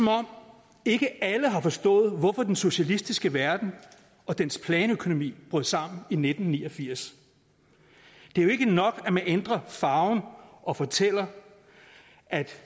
om ikke alle har forstået hvorfor den socialistiske verden og dens planøkonomi brød sammen i nitten ni og firs det er jo ikke nok at man ændrer farven og fortæller at det